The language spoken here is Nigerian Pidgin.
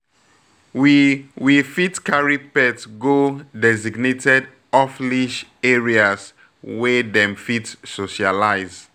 We We fit carry pet go designated off-leash areas wey dem fit socialize